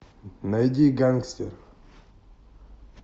найди гангстер